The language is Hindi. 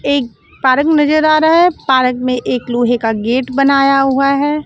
एक पारक नजर आ रहा है पारक में एक लोहे का गेट बनाया हुआ है।